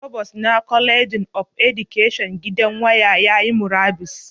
Provost na College of Education gidan waya yayi murabus